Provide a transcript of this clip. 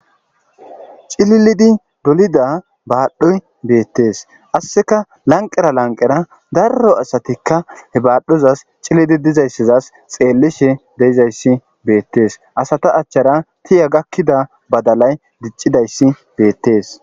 Cililidi dolida baadhoy bettees.qasseka lanqqera lanqqera asatikka he baadhozasi cililidi dizayssazasi xeelishe de'izayssi beetesi. Asata achchara tiya gakkida badalay diccidayssi beetes.